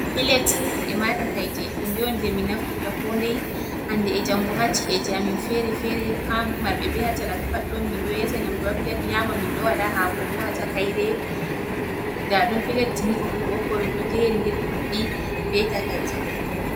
Pilet ema takaije hunde on je min naftirta ko ndei hande e jango ha ci'eji amin fere-fere ha marɓe be ha talaka pat ɗon min ɗo esa nyamdu ha pilet nyama min ɗo waɗa hako bo ha takaire nda ɗum pilet ni ɓokko ɓokko ɗum ɗo jeri ndiri ɗuɗɗi be takaije.